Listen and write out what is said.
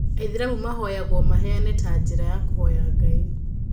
Aithĩramu mahoyagwo maheane ta njira ya kuhoya Ngai